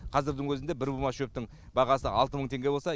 қазірдің өзінде бір бума шөптің бағасы алты мың теңге болса